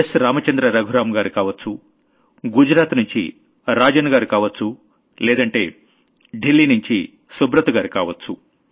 రామచంద్ర రఘురామ్ గారు కావొచ్చు గుజరాత్ నుంచి రాజన్ గారు కావొచ్చు లేదంటే ఢిల్లీనుంచి సుబ్రత్ గారు కావొచ్చు